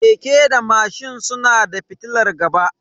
Keke da mashin suna da fitilar gaba.